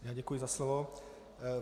Děkuji za slovo.